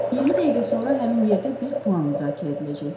20 dəqiqə sonra həmin yerdə bir plan müzakirə ediləcək.